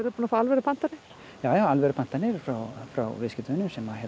búin að fá alvöru pantanir já já alvöru pantanir frá frá viðskiptavinum sem